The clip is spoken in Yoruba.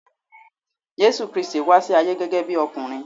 Jésù Kristi wá sí ayé gẹ́gẹ́ bí ọkùnrin.